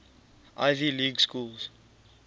ivy league schools